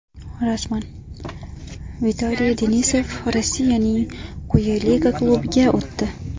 Rasman: Vitaliy Denisov Rossiyaning quyi liga klubiga o‘tdi.